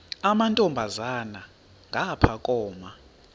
amantombazana ngapha koma